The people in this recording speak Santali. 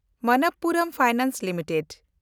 Manappuram finance limited